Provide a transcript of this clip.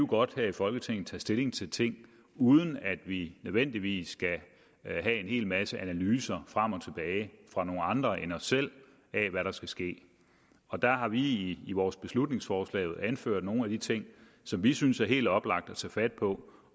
godt her i folketinget tage stilling til ting uden at vi nødvendigvis skal have en hel masse analyser frem og tilbage fra nogle andre end os selv af hvad der skal ske der har vi i vores beslutningsforslag jo anført nogle af de ting som vi synes det er helt oplagt at tage fat på